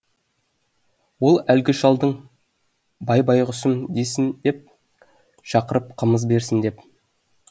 ол әлгі шалдың бай байғұсым десін деп шақырып қымыз берсін деп